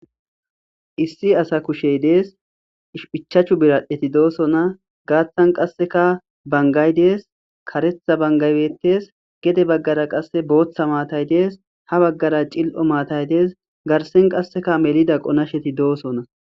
issi asa kushey dees ichachu biradhdheti doosona gaaththan qasseka bangay dees karetha bangaybetes gede baggara qasse booththa maatay dees ha baggara cil7o maatay dees garsen qasseka melida qonasheti doosonna